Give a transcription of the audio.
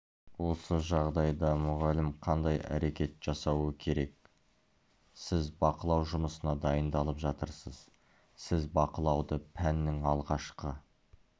осы жағдайда мұғалім қандай әрекет жасауы керек сіз бақылау жұмысына дайындалып жатырсыз сіз бақылауды пәннің алғашқы